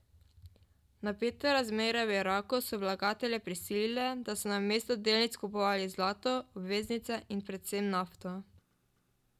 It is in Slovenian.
Napete razmere v Iraku so vlagatelje prisilile, da so namesto delnic kupovali zlato, obveznice in predvsem nafto.